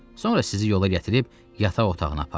Sonra sizi yola gətirib yataq otağına aparım.